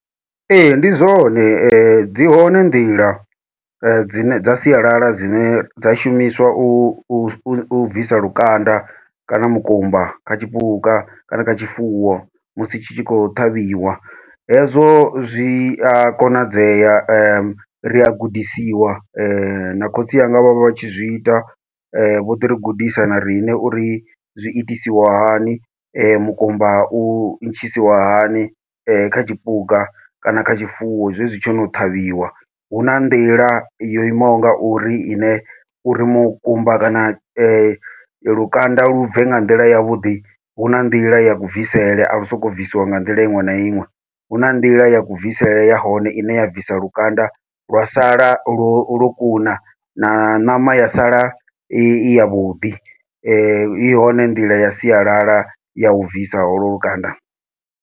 Ee, ndi zwone dzi hone nḓila dzine dza sialala dzine dza shumiswa u bvisa lukanda kana mukumba kha tshipuka kana kha tshifuwo musi tshi tshi khou ṱhavhiwa, hezwo zwi a konadzea ria gudisiwa na khotsi anga vho vha tshi zwi ita vho ḓi ri gudisa na riṋe uri zwi itisiwa hani mukumba u ntshisiwa hani kha tshipuka, kana kha tshifuwo zwezwi tsho no ṱhavhiwa. Huna nḓila yo imaho ngauri ine uri mukumba kana lukanda lu bve nga nḓila yavhuḓi huna nḓila ya ku bvisele a lu soko bvisiwa nga nḓila iṅwe na iṅwe, huna nḓila ya ku bvisele ya hone ine ya bvisa lukanda lwa sala lwo lwo kuna na ṋama ya sala i yavhuḓi i hone nḓila ya sialala yau bvisa holo lukanda.